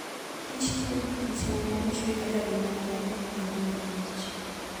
kich tiyo gikich ma ne ochwe kaka gima kende e ngima kich.